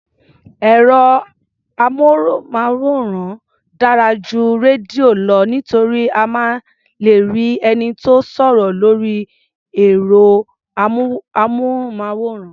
Ẹ̀rọ-amóhùnmáwòrán dára ju rédíò lọ nítorí a máa lè rí ẹni tó ń sọ̀rọ̀ lórí ẹ̀rọ-amóhùnmáwòrán.